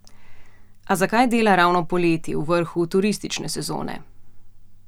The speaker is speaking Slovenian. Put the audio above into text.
A zakaj dela ravno poleti, v vrhu turistične sezone?